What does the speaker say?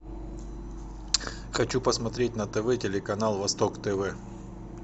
хочу посмотреть на тв телеканал восток тв